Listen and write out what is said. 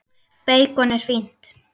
Beikon er fínt!